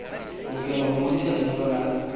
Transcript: lokela ho ngodisa lenyalo la